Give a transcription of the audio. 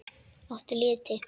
Áttu liti?